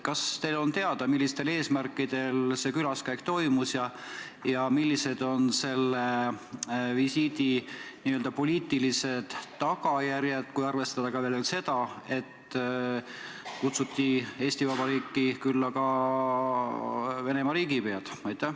Kas teile on teada, millistel eesmärkidel see külaskäik toimus ja millised on selle visiidi n-ö poliitilised tagajärjed, kui arvestada seda, et Eesti Vabariik kutsus omakorda külla Venemaa riigipea?